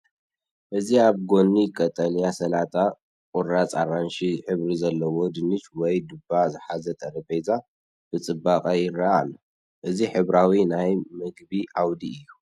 እዚ ኣብ ጎኒ ቀጠልያ ሰላጣ፡ ቁራጽ ኣራንሺ ሕብሪ ዘለዎ ድንሽ ወይ ድባ ዝሓዘ ጠረጴዛ፡ ብጽባቐ ይረአ ኣሎ። እዚ ሕብራዊ ናይ መግቢ ዓውዲ እዩ።